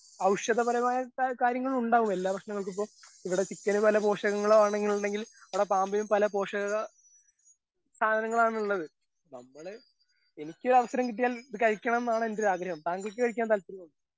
ഔഷധപരമായ ക കാര്യങ്ങളുണ്ടാവും എല്ലാ ഭക്ഷണങ്ങൾക്കിപ്പോ ഇവിടെ ചിക്കന് പല പോഷകങ്ങളാണെന്നുണ്ടെങ്കിൽ അവിടെ പാമ്പിനും പല പോഷക സാധനങ്ങളാണുള്ളത് നമ്മള് എനിക്കൊരവസരം കിട്ടിയാൽ ഇത് കഴിക്കണംന്നാണെന്റെയൊരാഗ്രഹം താങ്കൾക്ക് കഴിക്കാൻ താല്പര്യണ്ടോ.